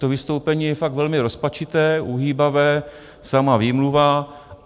To vystoupení je fakt velmi rozpačité, uhýbavé, samá výmluva.